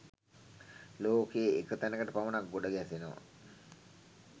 ලෝකයේ එක් තැනකට පමණක් ගොඩ ගැසෙනවා.